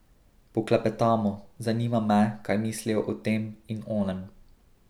Poklepetamo, zanima me, kaj mislijo o tem in onem.